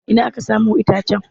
Ina aka samo itacen?